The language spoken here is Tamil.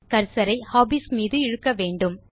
கர்சர் ஐ ஹாபீஸ் மீது இழுக்க வேண்டும்